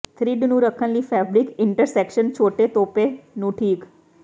thread ਨੂੰ ਰੱਖਣ ਲਈ ਫੈਬਰਿਕ ਇੰਟਰਸੈਕਸ਼ਨ ਛੋਟੇ ਤੋਪੇ ਨੂੰ ਠੀਕ